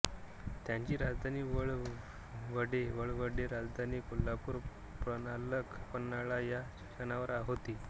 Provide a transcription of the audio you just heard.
त्यांची राजधानी वळीवडे वळवडे राधानगरी कोल्हापूर प्रणालक पन्हाळा या ठिकाणांवर होती